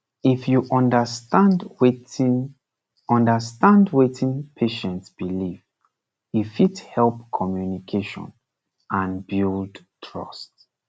if you understand wetin understand wetin patient believe e fit help communication and build trust